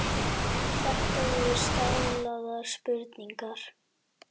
Þetta voru staðlaðar spurningar.